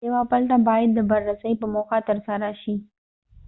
یوه پلټه باید د بررسۍ په موخه ترسره شي